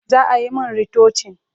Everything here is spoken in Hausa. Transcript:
Za a yi min ritocin.